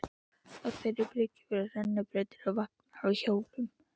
Á þeirri bryggju voru rennibrautir og vagnar á hjólum.